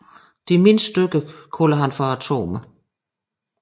De mindste stykker kaldte han for atomer